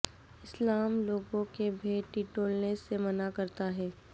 اسلام لوگوں کے بھید ٹٹولنے سے منع کرتا ہے